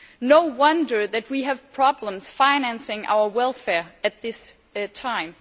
No wonder that we have problems financing our welfare at this time.